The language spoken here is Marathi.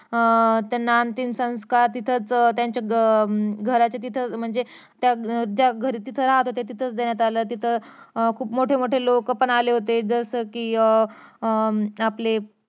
अं त्यांना अंतिम संस्कार तिथंच अं त्यांच्या अं घराच्या तिथंच म्हणजे त्या तिथं राहत होत्या तिथंच देण्यात आल तिथे खूप मोठे मोठे लोक पण आले होते जस कि अं आपले